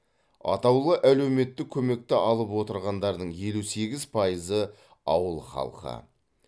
атаулы әлеуметтік көмекті алып отырғандардың елу сегіз пайызы ауыл халқы